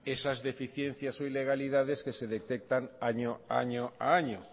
esas deficiencias o ilegalidades que se detectan año a año